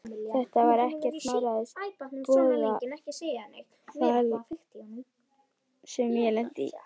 Þetta var ekkert smáræðis boðafall sem ég lenti í!